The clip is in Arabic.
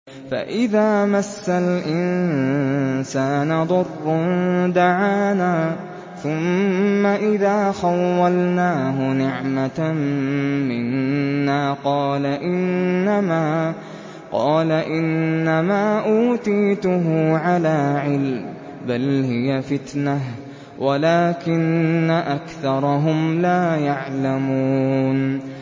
فَإِذَا مَسَّ الْإِنسَانَ ضُرٌّ دَعَانَا ثُمَّ إِذَا خَوَّلْنَاهُ نِعْمَةً مِّنَّا قَالَ إِنَّمَا أُوتِيتُهُ عَلَىٰ عِلْمٍ ۚ بَلْ هِيَ فِتْنَةٌ وَلَٰكِنَّ أَكْثَرَهُمْ لَا يَعْلَمُونَ